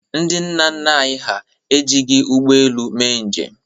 Ndị nna nna anyị hà ejighi ụgbọelu mee njem.